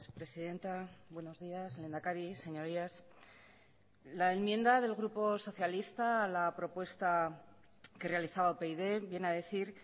presidenta buenos días lehendakari señorías la enmienda del grupo socialista a la propuesta que realizaba upyd viene a decir